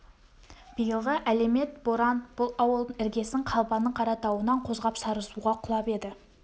биылғы әлемет боран бұл ауылдың іргесін қалбаның қаратауынан қозғап сарысуға құлап еді